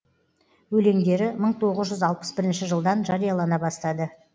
өлеңдері мың тоғыз жүзалпыс бірінші жылдан жариялана бастады